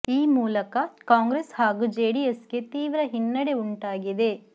ಈ ಮೂಲಕ ಕಾಂಗ್ರೆಸ್ ಹಾಗೂ ಜೆಡಿಎಸ್ ಗೆ ತೀವ್ರ ಹಿನ್ನಡೆ ಉಂಟಾಗಿದೆ